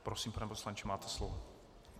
Prosím, pane poslanče, máte slovo.